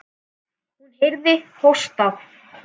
Hún heyrði hósta.